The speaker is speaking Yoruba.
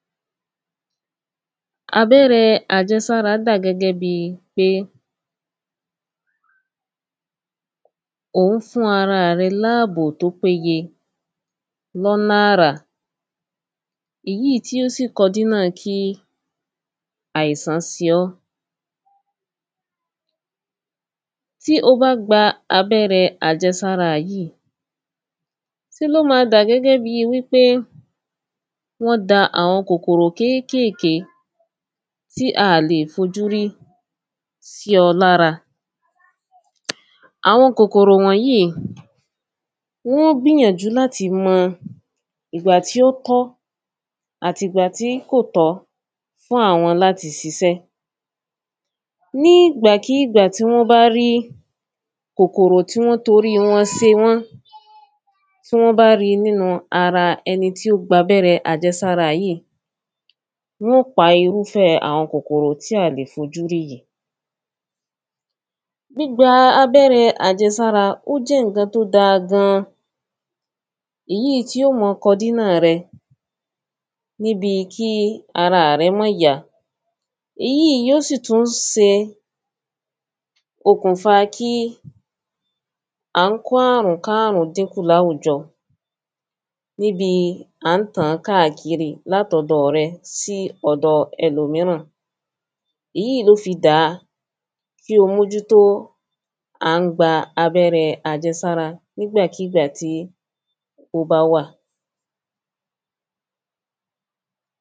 abẹ́rẹ àjẹsára dà gẹ́gẹ́ bíi pé, ò ń fún ara rẹ láàbò tó péye lọ́nà àrà, èyíì í tí ó sì kọ dénà kí àìsán se ọ́. tí o bá gba abẹ́rẹ àjẹsára yíi se ló ma dà gẹ́gẹ́ bi wípé wọ́n da àwọn kòkòrò kékèké tí a à lè fojú rí sí ọ lára. àwọn kòkòrò wọ̀nyíi, wọ́n ó gbìyànjú láti mọ ìgbà tí ó tọ́ àti ìgbà tí kòtọ́ fún àwọn láti sisẹ́. ní ìgbàkígbà tí wọ́n bá rí kòkòró tí wọ́n torí wọn se wọ́n, tí wọ́n bá ri nínu ara ẹni tí ó gbabẹ́rẹ àjẹsára yíi. wọ́n ó pa irúfẹ́ àwọn kòkòrò tí à lè fojú rí yìí. gbígba abẹ́rẹ àjẹsára, ó jẹ́ ǹkan tó da gan, èyíì í tí ó mọ kọ dínà rẹ níbi kí ara rẹ́ mọ́n yá, èyíì í yíó sì tún se okùn fa kí à ń kó àrùn káàrùnkárùn dín kù láwùjọ, níbi à ń tàn-án káàkiri látọ̀dọ̀ rẹ sí ọ̀dọ ẹlòmíràn. èyíì í ló fi dàa kí o mójútó à ńgba abẹ́rẹ àjẹsára nígbàkígbà tí ó bá wà.